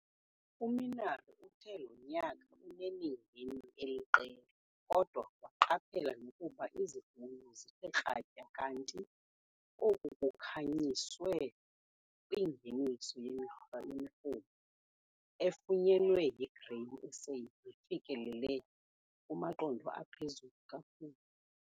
UMinaar uthe lo nyaka unemingeni eliqela kodwa waqaphela nokuba izivuno zithe kratya kanti oku kukhanyiswe kwingeniso yemirhumo efunyenwe yiGrain SA nefikelele kumaqondo aphezulu kakhulu.